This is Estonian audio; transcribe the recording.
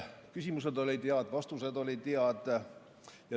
Küsimused olid head, vastused olid head.